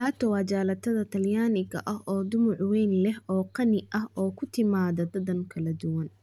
Gelato waa jalaatada talyaaniga oo dhumuc weyn leh oo qani ah oo ku timaada dhadhan kala duwan.